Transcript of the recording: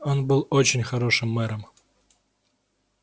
он был очень хорошим мэром